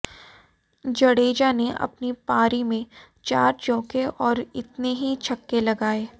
जडेजा ने अपनी पारी में चार चौके और इतने ही छक्के लगाये